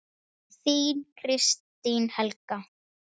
Þín, Kristín Helga.